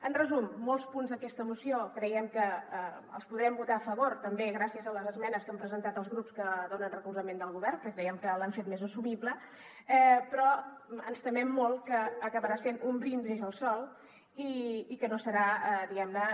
en resum molts punts d’aquesta moció creiem que els podrem votar a favor també gràcies a les esmenes que han presentat els grups que donen recolzament al govern que creiem que l’han fet més assumible però ens temem molt que acabarà sent un brindis al sol i que no serà diguem ne